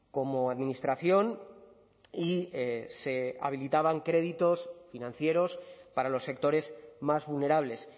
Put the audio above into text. como administración y se habilitaban créditos financieros para los sectores más vulnerables